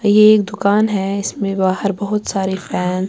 . یہ ایک دکان ہے اسمے بہار بہت سارے فن